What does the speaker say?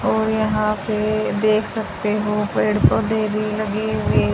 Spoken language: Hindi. और यहां पे देख सकते हो पेड़ पौधे भी लगे हुए--